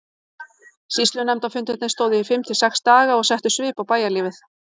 Sýslunefndarfundirnir stóðu í fimm til sex daga og settu svip á bæjarlífið.